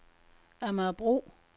Amagerbro